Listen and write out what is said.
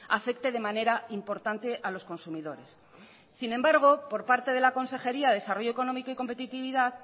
afecte de manera importante a los consumidores sin embargo por parte de la consejería de desarrollo económico y competitividad